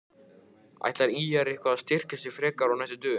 Ætlar ÍR eitthvað að styrkja sig frekar á næstu dögum?